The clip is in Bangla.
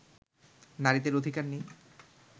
নারীদের অধিকার নেই